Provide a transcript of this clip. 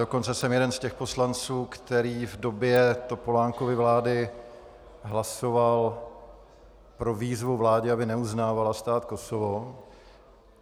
Dokonce jsem jeden z těch poslanců, který v době Topolánkovy vlády hlasoval pro výzvu vládě, aby neuznávala stát Kosovo.